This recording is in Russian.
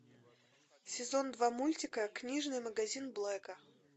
сезон два мультика книжный магазин блэка